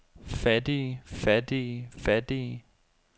fattige fattige fattige